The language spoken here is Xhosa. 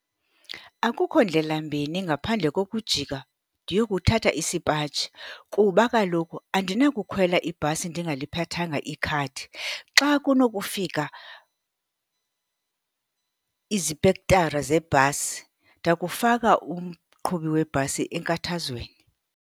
Akukho ndlelambini ngaphandle kokujika ndiyokuthatha isipaji kuba kaloku andinakukhwela ibhasi ndingaliphathanga ikhadi. Xa kunokufika izipektara zebhasi ndakufaka umqhubi webhasi enkathazweni.